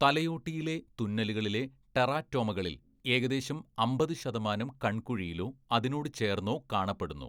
തലയോട്ടിയിലെ തുന്നലുകളിലെ ടെറാറ്റോമകളിൽ ഏകദേശം അമ്പത് ശതമാനം കൺകുഴിയിലോ അതിനോട് ചേർന്നോ കാണപ്പെടുന്നു.